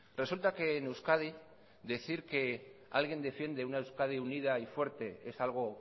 resulta que en euskadi decir que alguien defiende una euskadi unida y fuerte es algo